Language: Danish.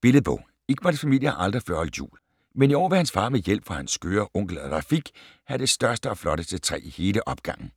Billedbog. Iqbals familie har aldrig før holdt jul. Men i år vil hans far med hjælp fra hans skøre onkel Rafiq have det største og flotteste træ i hele opgangen.